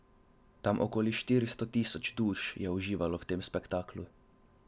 Tam okoli štiristo tisoč duš je uživalo v tem spektaklu.